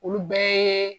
Olu bɛɛ